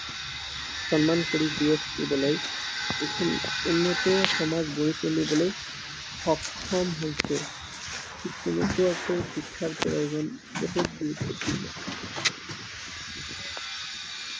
সন্মান কৰি জীয়াই থাকিবলৈ, উন্নত সমাজ গঢ়ি তুলিবলৈ সক্ষম হৈছে। ঠিক তেনেকুৱাকৈ শিক্ষাৰ প্ৰয়োজন বহুত গুৰুত্বপূৰ্ণ।